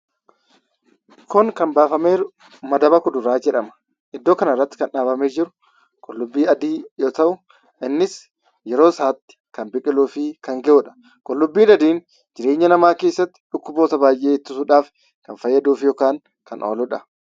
Kun, kan baafame jiru madaba kuduraa jedhama. Iddoo kanarratti kan dhaabame jiru qullubbii adii yoo ta'u, innis yeroosatti kan biqiluufi kan ga'udha. Qullubbiin adiin jireenya nama keessatti dhukkuboota baay'ee ittisuudhaf kan fayyaduufi ykn kan ooluudha.